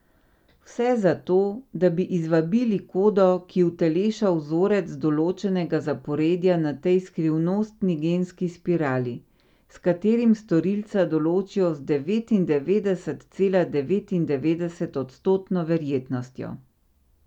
Vse za to, da bi izvabili kodo, ki uteleša vzorec določenega zaporedja na tej skrivnostni genski spirali, s katerim storilca določijo z devetindevetdeset cela devetindevetdeset odstotno verjetnostjo.